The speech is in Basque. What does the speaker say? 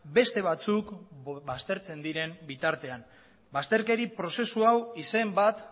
beste batzuk baztertzen diren bitartean bazterkeri prozesu hau izen bat